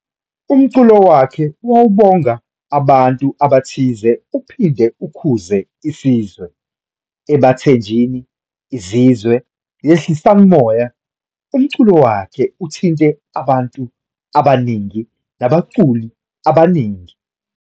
Umculo wakhe wawubonga abantu abathize uphinde ukhuze isizwe, "Ebathenjini, Izizwe, Yehlisan' umoya", umculo wakhe uthinte abantu abaningi nabaculi abaningi